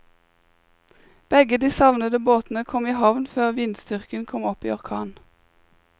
Begge de savnede båtene kom i havn før vindstyrken kom opp i orkan.